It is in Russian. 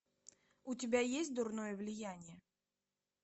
у тебя есть дурное влияние